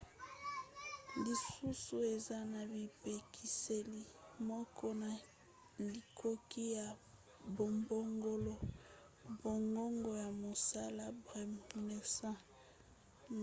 lisusu eza na bipekiseli moke na likoki ya kobongola bangonga ya mosala. bremer 1998